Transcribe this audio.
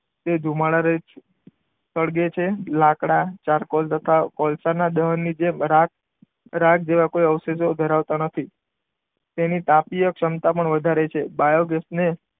તે ધુમાડા રહિત છે. સળગે છે લાકડા ચારકોલ તથા કોલસાના દહન ની જેમ રાખ, રાખ જેવા કોઈ અવશેષો ધરાવતા નથી. તેની તાપીય ક્ષમતા પણ વધારે છે. બાયોગેસને,